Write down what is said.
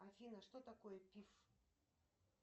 афина что такое пиф